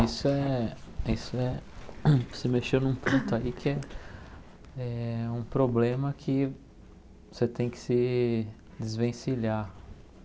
Isso é isso é você mexeu num ponto aí que é um problema que você tem que se desvencilhar.